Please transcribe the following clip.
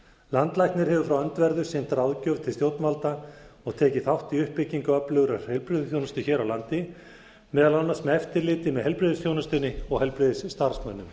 landlæknir hefur frá öndverðu sinnt ráðgjöf til stjórnvalda og tekið þátt í uppbyggingu öflugrar heilbrigðisþjónustu hér á landi meðal annars með eftirliti með heiblrigðisþjónustunni og heilbrigðisstarfsmönnum